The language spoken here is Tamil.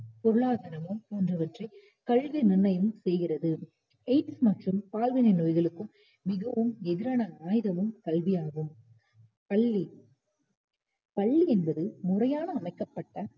பொருளாதாரமும் போன்றவற்றைக் கல்வி நிர்ணயம் செய்கிறது. எய்ட்ஸ் மற்றும் பால்வினை நோய்களுக்கும் மிகவும் எதிரான ஆயுதமும் கல்வியாகும். பள்ளி பள்ளி என்பது முறையான அமைக்கபட்ட